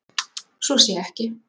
Svo sé ekki